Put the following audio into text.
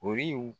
Ori